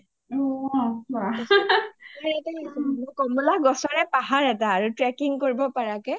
কমলা গছৰে পাহাৰ এটা trekking কৰিব পাৰাকে